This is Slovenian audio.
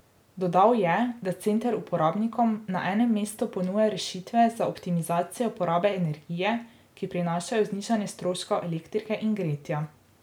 Dodal je, da center uporabnikom na enemu mestu ponuja rešitve za optimizacijo porabe energije, ki prinašajo znižanje stroškov elektrike in gretja.